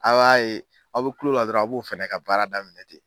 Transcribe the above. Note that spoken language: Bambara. A b'a ye, aw bɛ kulo la dɔrɔn a b'u fɛnɛ ka baara daminɛ ten.